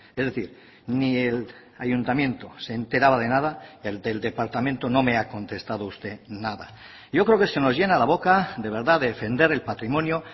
es decir ni el ayuntamiento se enteraba de nada el del departamento no me ha contestado usted nada yo creo que se nos llena la boca de verdad de defender el patrimonio